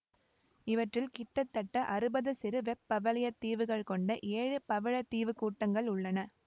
இவற்றில் கிட்டத்தட்ட அறுபது சிறு வெப்பவலயத் தீவுகளை கொண்ட ஏழு பவளத்தீவுக் கூட்டங்கள் உள்ளன